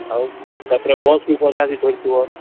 ହଁ ତାପରେ Bus ବି ଗଞ୍ଜାମ ଠୁ ଧରିଥିବ